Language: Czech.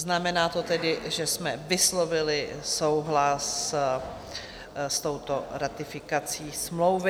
Znamená to tedy, že jsme vyslovili souhlas s touto ratifikací smlouvy.